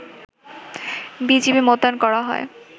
BGB মোতায়েন করা হয়